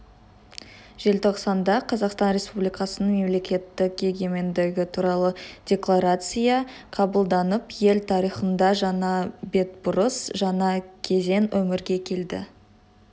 желтоқсанда қазақстан республикасының мемлекеттік егемендігі туралы декларация қабылданып ел тарихында жаңа бетбұрыс жаңа кезең өмірге келді